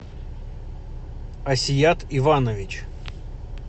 асият иванович